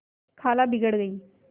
खाला बिगड़ गयीं